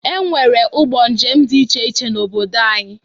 E nwere ụgbọ njem dị iche iche n'obodo anyị